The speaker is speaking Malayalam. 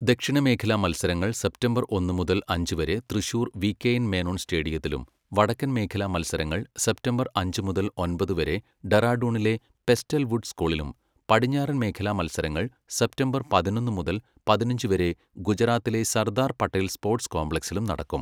ദക്ഷിണ മേഖല മത്സരങ്ങൾ സെപ്റ്റംബർ ഒന്ന് മുതൽ അഞ്ച് വരെ തൃശൂർ വികെഎൻ മേനോൻ സ്റ്റേഡിയത്തിലും, വടക്കൻ മേഖല മത്സരങ്ങൾ സെപ്തംബർ അഞ്ച് മുതൽ ഒമ്പത് വരെ ഡെറാഡൂണിലെ പെസ്റ്റൽ വുഡ് സ്കൂളിലും, പടിഞ്ഞാറൻ മേഖല മത്സരങ്ങൾ സെപ്തംബർ പതിനൊന്ന് മുതൽ പതിനഞ്ച് വരെ ഗുജറാത്തിലെ സർദാർ പട്ടേൽ സ്പോർട്സ് കോംപ്ലക്സിലും നടക്കും.